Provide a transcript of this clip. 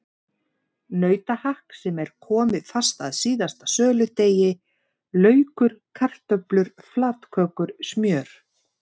Nautahakk sem var komið fast að síðasta söludegi, laukur, kartöflur, flatkökur, smjör.